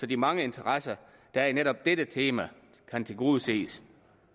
de mange interesser der er i netop dette tema kan tilgodeses